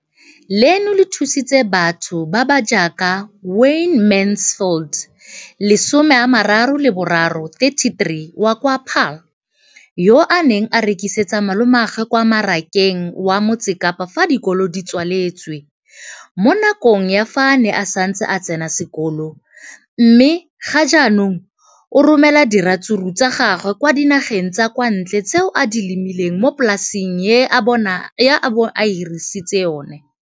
Leno le thusitse batho ba ba jaaka Wayne Mansfield, 33, wa kwa Paarl, yo a neng a rekisetsa malomagwe kwa Marakeng wa Motsekapa fa dikolo di tswaletse, mo nakong ya fa a ne a santse a tsena sekolo, mme ga jaanong o romela diratsuru tsa gagwe kwa dinageng tsa kwa ntle tseo a di lemileng mo polaseng eo ba mo hiriseditseng yona.